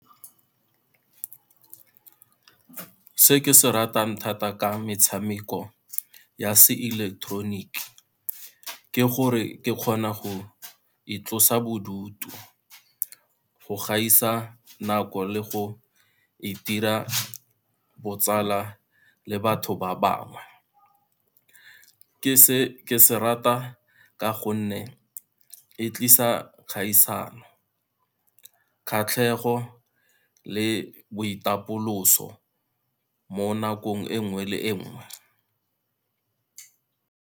Se ke se ratang thata ka metshameko ya seileketeroniki, ke gore ke kgona go itlosa bodutu, go gaisa nako le go itira botsala le batho ba bangwe. Ke se rata ka gonne e tlisa kgaisano, kgatlhego le boitapoloso mo nakong e nngwe le e nngwe.